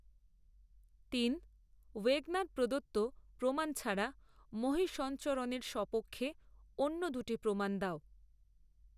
তিন. ওয়েগনার প্রদত্ত প্রমাণ ছাড়া মহীসঞরণের সপক্ষে অন্য দুটি প্রমাণ দাও।